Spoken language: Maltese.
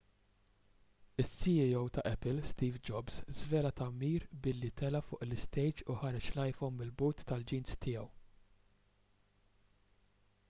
is-ceo tal-apple steve jobs żvela t-tagħmir billi tela' fuq l-istejġ u ħareġ l-iphone mill-but tal-jeans tiegħu